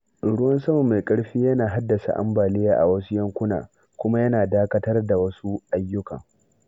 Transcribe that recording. Ruwan sama mai ƙarfi yana haddasa ambaliya a wasu yankunan, kuma yana dakatar da wasu ayyukan.